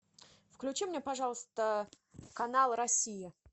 включи мне пожалуйста канал россия